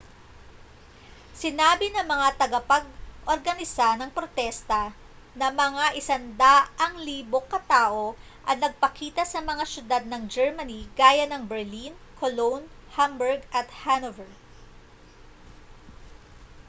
sinabi ng mga tagapag-organisa ng protesta na mga 100,000 ka tao ang nagpakita sa mga syudad ng germany gaya ng berlin cologne hamburg at hanover